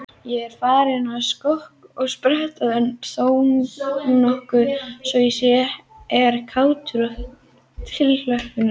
Ég er farinn að skokka og spretta þónokkuð svo ég er kátur og fullur tilhlökkunar.